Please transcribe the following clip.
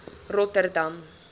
rotterdam